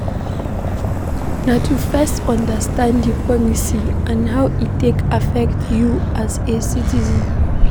Na to first understand di policy and how e take affect you as a citizen